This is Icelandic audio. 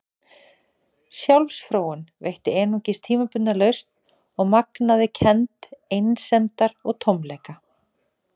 Sjálfsfróun veitti einungis tímabundna lausn og magnaði kennd einsemdar og tómleika.